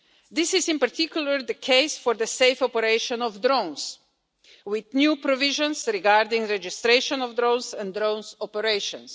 This is in particular the case for the safe operation of drones, with new provisions regarding registration of drones and drones' operations.